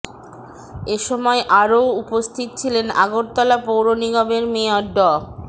এ সময় আরও উপস্থিত ছিলেন আগরতলা পৌর নিগমের মেয়র ড